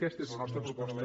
aquesta és la nostra proposta